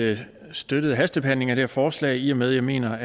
støttet hastebehandlingen her forslag i og med at jeg mener